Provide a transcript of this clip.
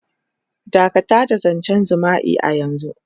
Dakatar da zancen jima'i a yanzu.